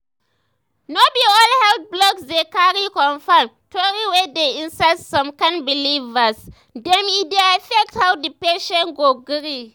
no be all the health blogs dey cari confirm tori wey dey inside some kind believers dem e dey affect how the patient go gree.